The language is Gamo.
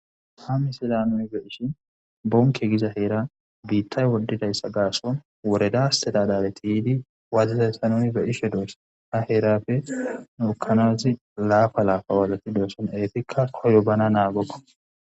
Ha misila nuni be ishi bonke giza heera biittay wodidayssa gaason woredaste dadabeti yidi waazizayssa nuni be ishe doos ha heerapfe nuukanazi laafa laafa walati dooson eefikka koydo bana naagokko.